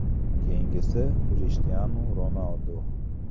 Keyingisi Krishtianu Ronaldu.